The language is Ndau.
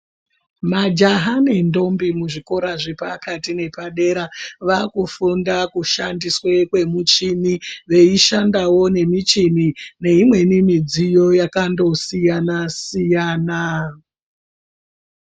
Majaha nendombi muzvikora zvepakati nepadera vaakufunda kushandiswe kwemishini veishanda wo neimweni midziyo yakandosiyanasiyana.